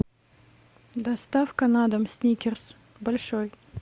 доставка на дом сникерс большой